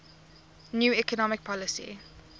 new economic policy